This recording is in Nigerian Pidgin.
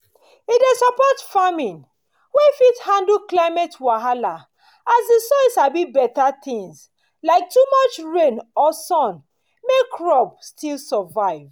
e dey support farming wey fit handle climate wahala as the soil sabi better things like too much rain or sun make crop still survive.